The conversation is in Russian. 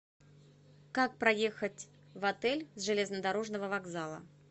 как проехать в отель с железнодорожного вокзала